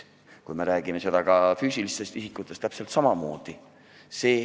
Kui me räägime füüsilistest isikutest, siis on täpselt samamoodi.